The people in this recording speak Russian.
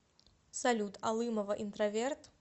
салют алымова интроверт